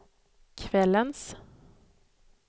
kvällens